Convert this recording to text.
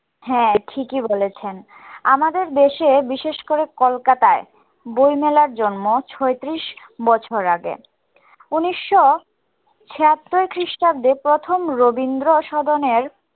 হ্যাঁ ঠিকই বলেছেন আমাদের দেশে বিশেষ করে কলকাতায় বই মেলার জন্ম ছয়ত্রিশ বছর আগে উনিশশো ছিয়াত্তর খ্রিস্টাব্দে প্রথম রবীন্দ্র সদনের